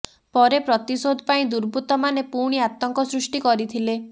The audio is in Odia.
ପରେ ପ୍ରତିଶୋଧ ପାଇଁ ଦୁର୍ବୃତ୍ତମାନେ ପୁଣି ଆତଙ୍କ ସୃଷ୍ଟି କରିଥିଲେ